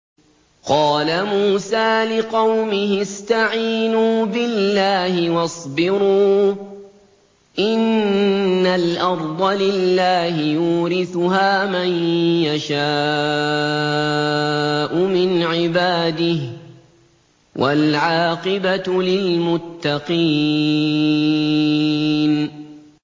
قَالَ مُوسَىٰ لِقَوْمِهِ اسْتَعِينُوا بِاللَّهِ وَاصْبِرُوا ۖ إِنَّ الْأَرْضَ لِلَّهِ يُورِثُهَا مَن يَشَاءُ مِنْ عِبَادِهِ ۖ وَالْعَاقِبَةُ لِلْمُتَّقِينَ